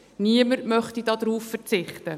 Niemand möchte darauf verzichten.